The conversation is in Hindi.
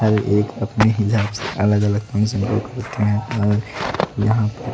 और एक अपनी ही अलग अलग रखे हैं और यहां पर--